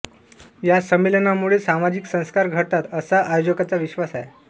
या संमेलनांमुळे सामाजिक संस्कार घडतात असा आयोजकांचा विश्वास आहे